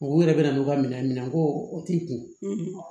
U yɛrɛ bɛna n'u ka minɛn minɛ ko o t'i kun